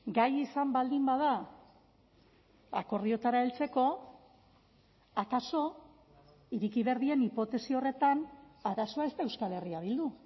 gai izan baldin bada akordioetara heltzeko akaso ireki behar diren hipotesi horretan arazoa ez da euskal herria bildu